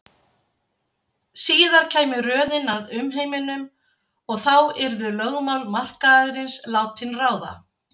Síðar kæmi röðin að umheiminum og þá yrðu lögmál markaðarins látin ráða.